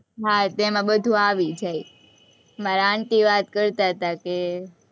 હા ત્યાં એમાં બધું આવી જાય, મારા aunty વાત કરતા'તા કે,